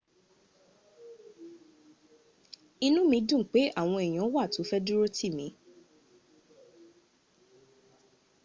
inu mi dun pe awon eyan wa to fe durotimi